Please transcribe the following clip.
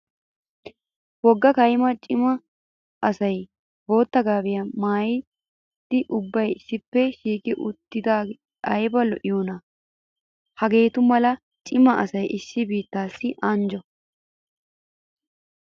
Wogga kayimma cima asay bootta gaabiya maayiddi ubbay issippe shiiqi uttiddi aybba lo'iyoonna. Hagettu mala cima asay issi biittassi anjjo.